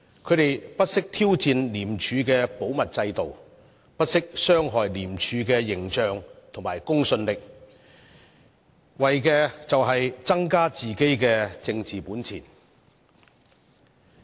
他們不惜挑戰廉署的保密制度，不惜傷害廉署的形象和公信力，為的是增加自己的政治本錢。